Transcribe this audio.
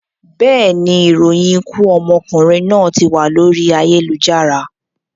Bẹ́ẹ̀ni, ìròyìn ikú okùnrin náà tí wà lórí ayélujára